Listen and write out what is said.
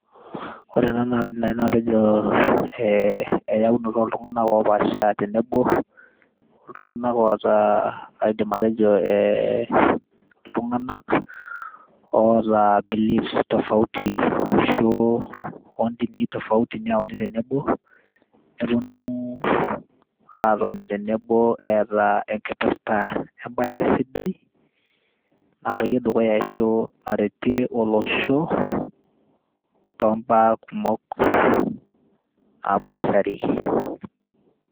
ore ena naa kaidim naaji atejo eyaunoto oo iltung'anak oo paasha tenebo iltung'anak oota aidim atejo iltung'anak oota believes tofauti ashu oo indinii tofauti neauni tenebo nepuonu atoni tenebo eeta enkipirta embae sidai napuoyie dukuya ashu naretie olosho too mba kumok napaashari.